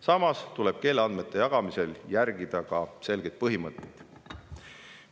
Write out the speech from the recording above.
Samas tuleb keeleandmete jagamisel järgida selgeid põhimõtteid.